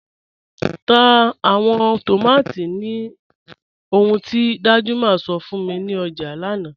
Tá awọn tómátí ní òhùn ti Danjuma sọ̀ fún mi ni ọjà lánà